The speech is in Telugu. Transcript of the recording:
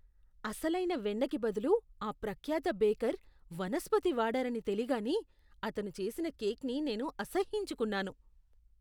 అసలైన వెన్నకి బదులు ఆ ప్రఖ్యాత బేకర్ వనస్పతి వాడారని తెలీగానే అతను చేసిన కేక్ని నేను అసహ్యించుకున్నాను .